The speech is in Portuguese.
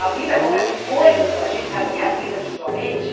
A vida acontecem coisas com a gente, na minha vida, principalmente.